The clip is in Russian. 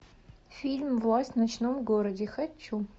фильм власть в ночном городе хочу